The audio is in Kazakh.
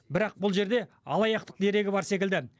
бірақ бұл жерде алаяқтық дерегі бар секілді